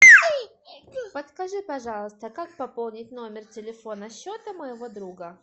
подскажи пожалуйста как пополнить номер телефона счета моего друга